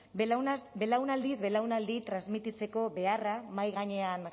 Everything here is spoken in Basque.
belaunaldiz belaunaldi transmititzeko beharra mahai gainean